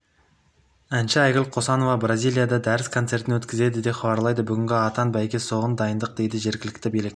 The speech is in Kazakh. әнші айгүл қосанова бразилияда дәріс-концертін өткізді деп хабарлайды бүгінгі атан бәйге соған дайындық дейді жергілікті билік